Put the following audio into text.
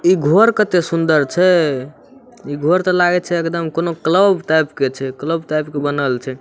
इ घर कते सूंदर छै इ घर ते लागे छै कोनो क्लब टाइप के छै क्लब टाइप के बनल छै ।